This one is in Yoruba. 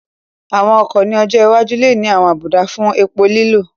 Àwọn ọkọ̀ ní ọjọ́ iwájú lè ní àwọn àbùdá fún epo lílò